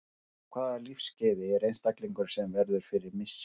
Á hvaða lífsskeiði er einstaklingurinn sem verður fyrir missi?